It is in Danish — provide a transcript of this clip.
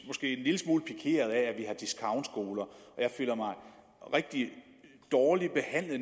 måske en lille smule pikeret at vi har discountskoler og jeg føler mig rigtig dårligt behandlet